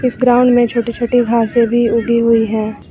इस ग्राउंड में छोटी छोटी घासे भी उगी हुई हैं।